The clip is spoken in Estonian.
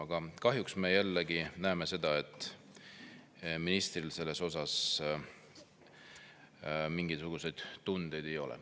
Aga kahjuks näeme jälle seda, et ministril selles osas mingisuguseid tundeid ei ole.